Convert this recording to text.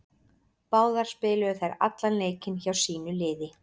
Báðar spiluðu þær allan leikinn hjá sínu liði.